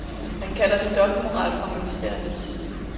Han kalder det dobbeltmoral fra ministeriernes side.